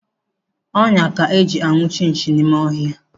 Ọnyá ka eji anwụchi nchi n'ime ọhịa.